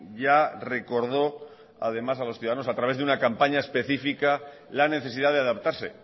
ya recordó además a los ciudadanos a través de una campaña específica la necesidad de adaptarse